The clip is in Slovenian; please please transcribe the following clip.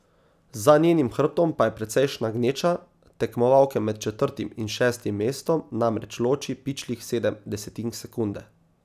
Za njenim hrbtom pa je precejšnja gneča, tekmovalke med četrtim in šestim mestom namreč loči pičlih sedem desetink sekunde.